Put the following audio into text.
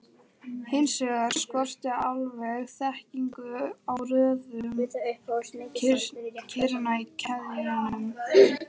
Hins vegar skorti alveg þekkingu á röðun kirna í keðjunum.